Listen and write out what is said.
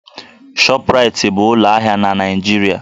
Shọpraịtị bụ ụlọ ahịa na Naịjirịa